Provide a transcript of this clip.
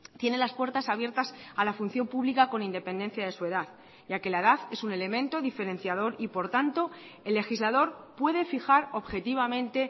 tiene las puertas abiertas a la función pública con independencia de su edad ya que la edad es un elemento diferenciador y por tanto el legislador puede fijar objetivamente